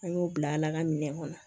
An y'o bila ala ka minɛ kɔnɔ